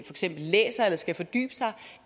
eksempel læser eller skal fordybe sig